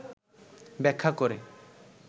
ব্যাখ্যা করে